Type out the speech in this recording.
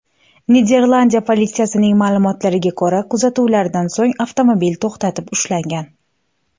Niderlandiya politsiyasining ma’lumotlariga ko‘ra, kuzatuvlardan so‘ng avtomobil to‘xtatib ushlangan.